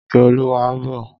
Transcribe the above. Ìkẹ́olúwa ń bọ̀.